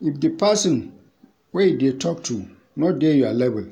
If di person wey you dey talk to no dey your level,